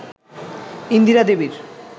ইন্দিরা দেবীর